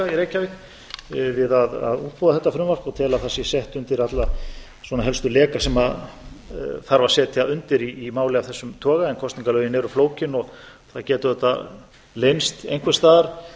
í reykjavík við að útbúa þetta frumvarp og tel að það sé sett undir alla svona helstu leka sem þarf að setja undir í máli af þessum toga en kosningalögin eru flókin og það geta auðvitað leynst einhvers staðar